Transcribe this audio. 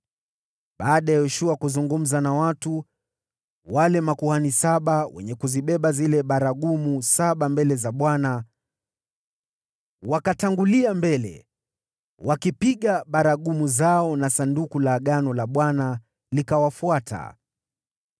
Baada ya Yoshua kuzungumza na watu, wale makuhani saba wenye kuzibeba zile baragumu saba mbele za Bwana , wakatangulia mbele, wakipiga baragumu zao na Sanduku la Agano la Bwana likawafuata.